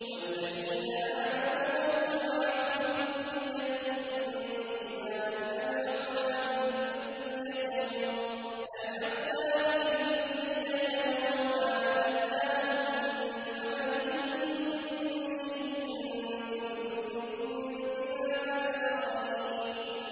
وَالَّذِينَ آمَنُوا وَاتَّبَعَتْهُمْ ذُرِّيَّتُهُم بِإِيمَانٍ أَلْحَقْنَا بِهِمْ ذُرِّيَّتَهُمْ وَمَا أَلَتْنَاهُم مِّنْ عَمَلِهِم مِّن شَيْءٍ ۚ كُلُّ امْرِئٍ بِمَا كَسَبَ رَهِينٌ